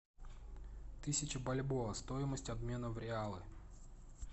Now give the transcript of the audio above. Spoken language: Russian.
тысяча бальбоа стоимость обмена в реалы